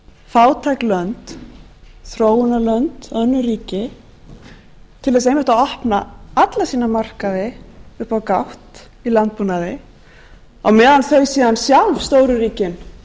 fátæk lönd þróunarlönd önnur ríki til þess einmitt að opna alla sína markaði upp á gátt í landbúnaði á meðan þau síðan sjálf stóru ríkin